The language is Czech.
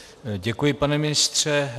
Děkuji, pane ministře.